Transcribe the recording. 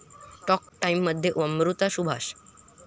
talk टाइम'मध्ये अमृता सुभाष